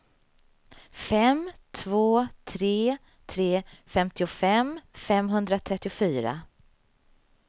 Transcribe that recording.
fem två tre tre femtiofem femhundratrettiofyra